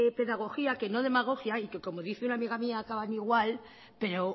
pedagogía que no demagogia y que como dice una amiga mía acaban igual pero